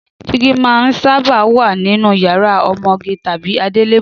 Dígí máa ń sábà wà nínú yàrá ọmọge tàbí adélébọ̀